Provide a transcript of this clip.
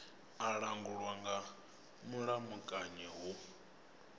a langulwa nga mulamukanyi hu